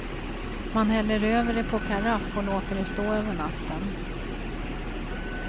Man häller över det på karaff och låter det stå över natten.